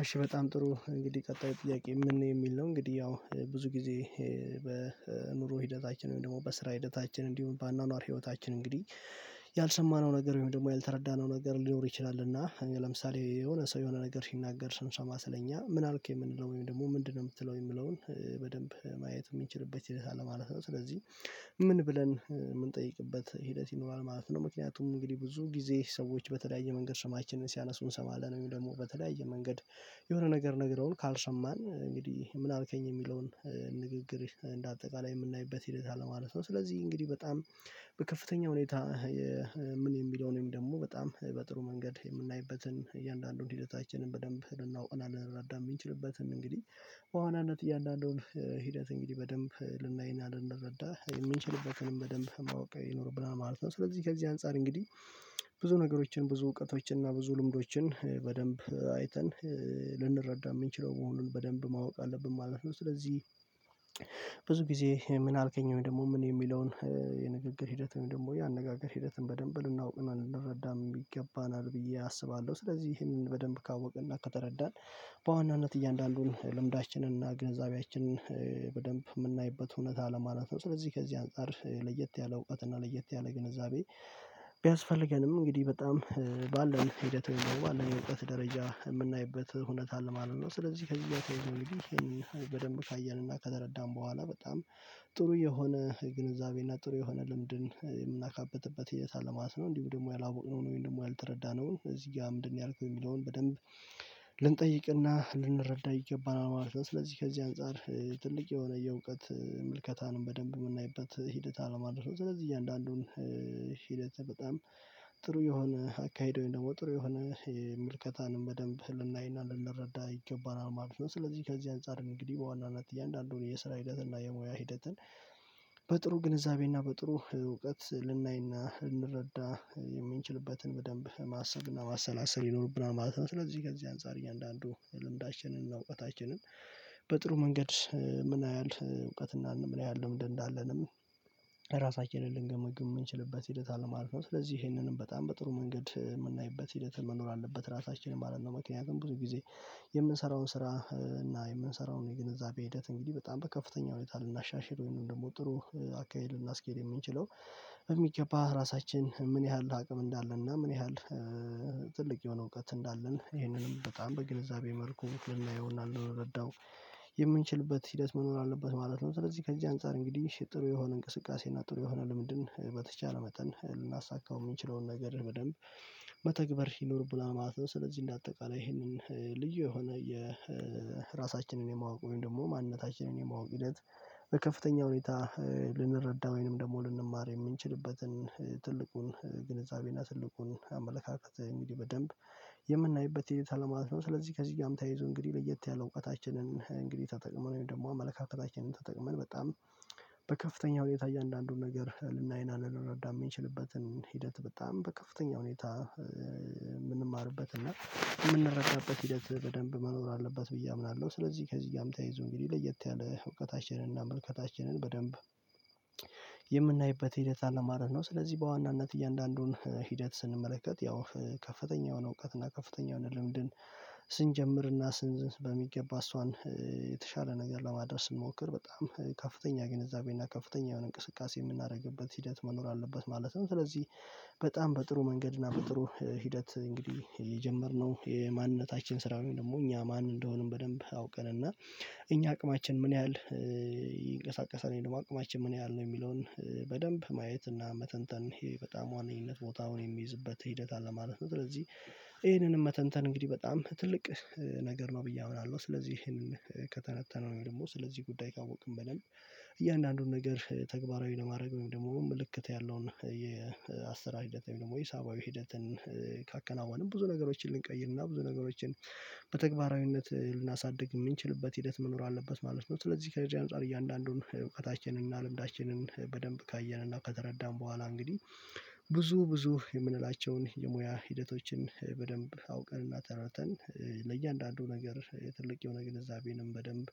እሺ በጣም ጥሩ እንግዲህ ቀጣዩ ጥያቄ ምን የሚል ነው? እንግዲህ ያው ብዙ ጊዜ በኑሮ ሂደታችን ወይም ደግሞ በስራ ሂደታችን እንዲሁም በአኗኗር ህይወታችን እንግዲህ። ያልሰማነው ነገር ወይም ደግሞ ያልተረዳነው ነገር ሊኖር ይችላልና ለምሳሌ የሆነ ሰው የሆነ ነገር ሲናገር ስንሰማ ስለኛ ምን አልክ የምንለው ወይም ደግሞ ምንድነው ምትለው የሚለውን በደንብ ማየት ሚችልበት ይሄዳል አለ ማለት ነው። ስለዚህ ምን ብለን ምንጠይቅበት ሂደት ይኖራል ማለት ነው። ምክንያቱም እንግዲህ ብዙ ጊዜ ሰዎች በተለያየ መንገድ ሰማችንን ሲያነሱ እንሰማለን የሚለው ደግሞ በተለያየ መንገድ የሆነ ነገር ነግረውን ካልሰማን እንግዲህ ምን አልከኝ የሚለውን ንግግር እንደ አጠቃላይ የምናይበት ሂደት አለ ማለት ነው። ስለዚህ እንግዲህ በጣም በከፍተኛ ሁኔታ ምን የሚለውንም ደግሞ በጣም በጥሩ መንገድ የምናይበትን እያንዳንዱን ሂደታችንን በደንብ ልናውቅ እና ልንረዳ የምንችልበትን እንግዲህ በዋናነት እያንዳንዱን ሂደት እንግዲህ በደንብ ልናይና ልንረዳ የምንችልበትንም በደብ ማወቅ ይኖርብናል ማለት ነው። ስለዚህ ከዚህ አንፃር እንግዲህ ብዙ ነገሮችን ብዙ እውቀቶችን እና ብዙ ልምዶችን በደንብ አይተን ልንረዳ ምንችለው መሆኑን በደንብ ማወቅ አለብን ማለት ነው። ስለዚህ ብዙ ጊዜ ምን አልከኝ ወይም ደግሞ ምን የሚለውን የንግግር ሂደት ወይም ደግሞ ያነጋገር ሂደትን በደንብ ልናውቅ እና ልንረዳም ይገባናል ብዬ አስባለሁ ስለዚህ ይህንን በደንብ ካወቅና ከተረዳን በዋናነት እያንዳንዱን ልምዳችንን እና ግንዛቤያችንን በደንብ ምናይበት ሁኔታ አለ ማለት ነው። ስለዚህ ከዚህ አንፃር ለየት ያለ እውቀት እና ለየት ያለ ግንዛቤ ቢያስፈልገንም እንግዲህ በጣም ባለን ሂደት ወይም ባለን የእውቀት ደረጃ የምናይበት ሁነት አለ ማለት ነው። ስለዚህ ከዚህ ጋ ተያይዞ እንግዲህ ይህን በደብ ካየንና ከተረዳን በኋላ በጣም ጥሩ የሆነ ግንዛቤና ጥሩ የሆነ ልምድን የምናካበትበት ሂደት አለ ማለት ነው። እንዲሁ ደግሞ ያላወቅነው ወይም ደግሞ ያልተረዳነውን እዚህ ጋር ምንድነው ያልከው ሚለውን በደንብ ልንጠይቅና ልንረዳ ይገባና ማለት ነው። ስለዚህ ከዚህ አንፃር ትልቅ የሆነ የእውቀት ምልከታንም በደንብ ምናይበት ሂደት አለ ማለት ነው። ስለዚህ እያንዳንዱን ሂደት በጣም ጥሩ የሆነ አካሄድ ወይም ደግሞ ጥሩ የሆነ ምልከታንም በደንብ ልናይና ልረዳ ይገባናል ማለት ነው። ስለዚህ ከዚህ አንፃር እንግዲህ በዋናነት እያንዳንዱን የስራ ሂደትና የሙያ ሂደትን በጥሩ ግንዛቤ እና በጥሩ እውቀት ልናይና ልንረዳ የምንችልበትን በደንብ ማሰብና ማሰላሰል ይኖርብናል ማለት ነው። ስለዚህ ከዚህ አንፃር እያንዳንዱ ልምዳችንን እና እውቀታችንን በጥሩ መንገድ ምን ያህል እውቀትና ምን ያህል ልምድ እንዳለንም ራሳችንን ልንገምግም ምንችልበት ሂደት አለ ማለት ነው። ስለዚህ ይሄንንም በጣም በጥሩ መንገድ የምናይበት ሂደት መኖር አለበት ራሳችንን ማለት ነው። ምክንያቱም ብዙ ጊዜ የምንሰራውን ስራ እና የምንሰራውን የግንዛቤ ሂደት እንግዲህ በጣም በከፍተኛ ሁኔታ ልናሻሽል ወይም ደግሞ ጥሩ አካሄድ ልናስኬድ የምንችለው በሚገባ ራሳችን ምን ያህል አቅም እንዳለና ምን ያህል ትልቅ የሆነ እውቀት እንዳለን ይህንንም በጣም በግንዛቤ መልኩ ልናየውና ልንረዳው የምንችልበት ሂደት መኖር አለበት ማለት ነው። ስለዚህ ከዚህ አንፃር እንግዲህ ጥሩ የሆነ እንቅስቃሴ እና ጥሩ የሆነ ልምንድን በተቻለ መጠን ልናሳካው የምንችለውን ነገር በደንብ መተግበር ይኖርብናል ማለት ነው። ስለዚህ እንደ አጠቃላይ ይህንን ልዩ የሆነ የራሳችንን የማወቅ ወይም ደግሞ ማንነታችንን የማወቅ ሂደት በከፍተኛ ሁኔታ ልንረዳ ወይንም ደግሞ ልንማር የምንችልበትን ትልቁን ግንዛቤና ትልቁን አመለካከት እንግዲህ በደንብ የምናይበት ሂደት አለ ማለት ነው። ስለዚህ ከዚህ ጋር ተያይዞ እንግዲህ ለየት ያለ እውቀታችንን እንግዲህ ተጠቅመን ወይም ደግሞ አመለካከታችንን ተጠቅመን በጣም በከፍተኛው ሁኔታ እያንዳንዱን ነገር ልናይና ልንረዳ የምንችልበትን ሂደት በጣም በከፍተኛ ሁኔታ ምንማርበት እና የምንረከበት ሂደት በደንብ መኖር አለበት ብዬ አምናለሁ። ስለዚህ ከዚህ ጋር ተያይዞ እንግዲህ ለየት ያለ እውቀታችንን ምልከታችንን በደንብ የምናይበት ሂደት አለማለት ነው። ስለዚህ በዋናነት እያንዳንዱን ሂደት ስንመለከት ያው ከፍተኛ የሆነ እውቀት እና ከፍተኛ የሆነ ልምድን ስንጀምርና ስንዝ በሚገባ እሷን የተሻለ ነገር ለማድረስ ስሞክር በጣም ከፍተኛ ግንዛቤና ከፍተኛ የሆነ እንቅስቃሴ የምናደርግበት ሂደት መኖር አለበት። ማለትም ስለዚህ በጣም በጥሩ መንገድ እና በጥሩ ሂደት እንግዲህ የጀመርነው የማንነታችን ስራውን ደግሞ እኛ ማን እንደሆንም በደንብ አውቀን እና እኛ አቅማችን ምን ያህል ይንቀሳቀሳል ወይም ደግሞ አቅማችን ምን ያህል ነው የሚለውን በደንብ ማየት እና መተንተን በጣም ዋነኝነት ቦታውን የሚይዝበት ሂደት አለ ማለት ነው። ስለዚህ ይህንንም መተንተን እንግዲህ በጣም ትልቅ ነገር ነው ብዬ አውራለሁ። ስለዚህ ይሄንን ከተነተነው ደግሞ ስለዚህ ጉዳይ ካወቅን በደብ እያንዳንዱን ነገር ተግባራዊ ለማድረግ ወይም ደግሞ ምልክት ያለውን የአሰራር ሂደት ወይ ሂሳባዊ ሂደትን ካከናወንን ብዙ ነገሮችን ልንቀይርና ብዙ ነገሮችን በተግባራዊነት ልናሳድግ ምንችልበት ሂደት መኖር አለበት ማለት ነው። ስለዚህ ከዚህ አንፃር እያንዳንዱን እውቀታችንን እና ልምዳችንን በደንብ ካየንና ከተረዳን በኋላ እንግዲህ ብዙ ብዙ የምንላቸውን የሙያ ሂደቶችን በደንብ አውቀን እና ተረተን ለእያንዳንዱ ነገር የትልቅ የሆነ ግንዛቤንም በደንብ